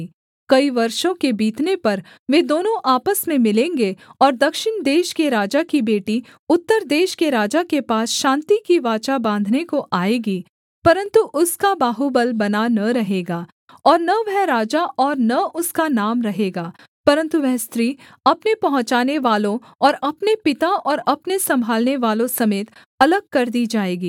कई वर्षों के बीतने पर वे दोनों आपस में मिलेंगे और दक्षिण देश के राजा की बेटी उत्तर देश के राजा के पास शान्ति की वाचा बाँधने को आएगी परन्तु उसका बाहुबल बना न रहेगा और न वह राजा और न उसका नाम रहेगा परन्तु वह स्त्री अपने पहुँचानेवालों और अपने पिता और अपने सम्भालनेवालों समेत अलग कर दी जाएगी